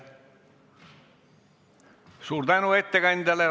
Suur tänu ettekandjale!